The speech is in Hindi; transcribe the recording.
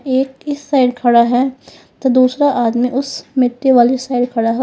एक इस साइड खड़ा है तो दूसरा आदमी उस मिट्टी वाली साइड खड़ा है।